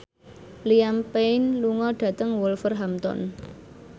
Liam Payne lunga dhateng Wolverhampton